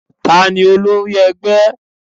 tani olórí ẹgbẹ́?